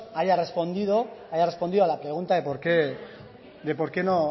haya respondido a la pregunta